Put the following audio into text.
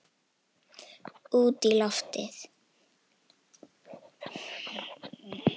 Út í lífið